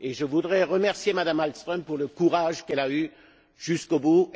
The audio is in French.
Je voudrais remercier Mme Malmström pour le courage qu'elle a eu jusqu'au bout.